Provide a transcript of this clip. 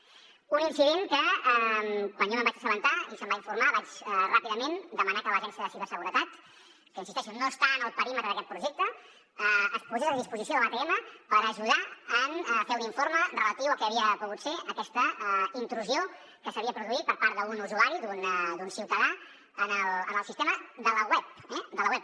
un incident que quan jo me’n vaig assabentar i se’m va informar vaig ràpidament demanar que l’agència de ciberseguretat que hi insisteixo no està en el perímetre d’aquest projecte es posés a disposició de l’atm per ajudar a fer un informe relatiu al que havia pogut ser aquesta intrusió que s’havia produït per part d’un usuari d’un ciutadà en el sistema de la web eh de la web